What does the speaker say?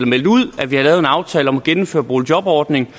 meldte ud at vi havde lavet en aftale om at genindføre boligjobordningen